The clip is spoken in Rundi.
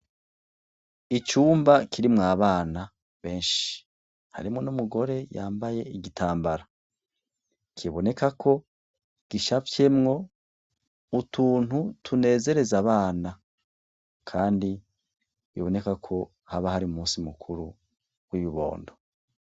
Icumba kirimwo abana benshi ,harimwo n'umugore yambaye igitambara, kiboneka ko gicafyemwo utuntu tunezereza abana, kandi biboneka ko haba har'umunsi mukuru w'ibibondo.